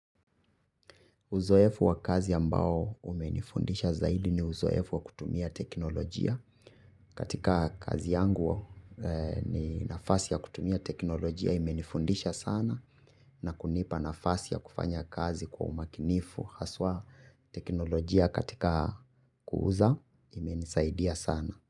Uzoefu wa kazi ambao umenifundisha zaidi ni uzoefu wa kutumia teknolojia. Katika kazi yangu ni nafasi ya kutumia teknolojia imenifundisha sana na kunipa nafasi ya kufanya kazi kwa umakinifu haswa teknolojia katika kuuza imenisaidia sana.